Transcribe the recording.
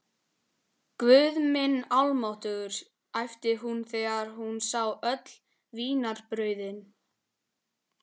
Guð minn almáttugur æpti hún þegar hún sá öll vínarbrauðin.